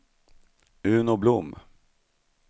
Uno Blom